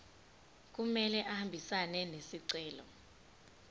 kumele ahambisane nesicelo